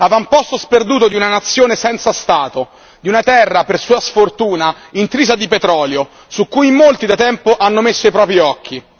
Avamposto sperduto di una nazione senza Stato, di una terra per sua sfortuna intrisa di petrolio, su cui molti da tempo hanno messo i propri occhi.